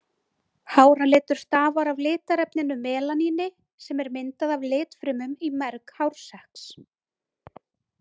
Háralitur stafar af litarefninu melaníni sem er myndað af litfrumum í merg hársekks.